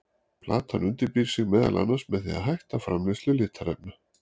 Plantan undirbýr sig meðal annars með því að hætta framleiðslu litarefna.